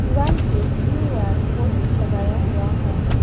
दिवाल पे Q R code लगाया हुआ है।